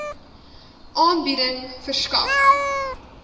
aanbieding verskaf